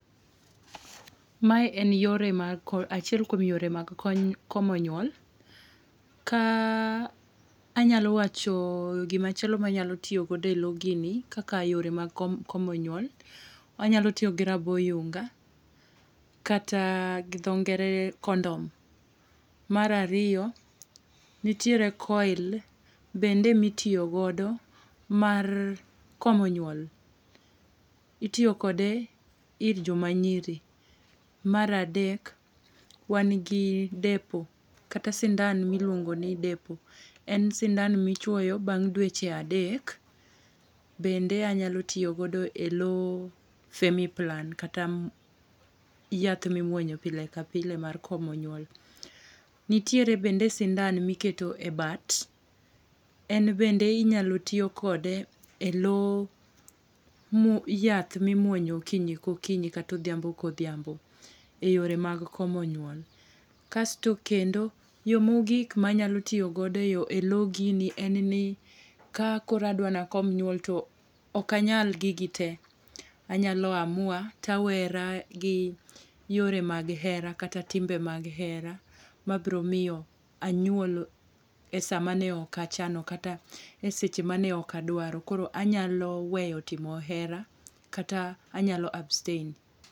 Mae en yore mag ko achiel kuom yore mag komo nyuol. Ka anyalo wacho gimachielo manyalo tiyo godo e loo gini kaka yore mag komo nyuol: anyalo tiyo gi rabo yunga kata gi dho ngere condom. Mar ariyo nitiere coil mitiyo godo mar komo nyuol , itiyo kode ir joma nyiri . Mar adek wan gi depo kata sindan miluongo ni depo en sindan michuoyo bang' dweche adek bende anyalo tiyo godo e looo femiplan kata ayath mimuonyo pile ka pile mar komo nyuol. Nitiere bende sindan mikete bat en bende inyalo tii kode e lowo mo yath mimuonyo okinyi kokinyi kata odhiambo kodhiambo e yore mag komo nyuol. Kasto yoo mogik manyalo tiyo godo e loo gini ka koro adwa nakom nyuol to ok anyal gigi tee anyalo amua tawera gi yore mag hera kata timbe mag hera mabro miyo anyuol e saa mane ok achano kata eseche mane ok adwaro. Koro anyalo weyo timo hera kata anyalo abstain.